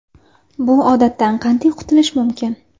Bu odatdan qanday qutulish mumkin?